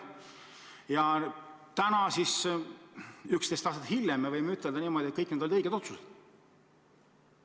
Ja täna, 11 aastat hiljem me võime ütelda niimoodi, et kõik need olid õiged otsused.